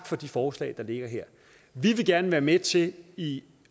for de forslag der ligger her vi vil gerne være med til i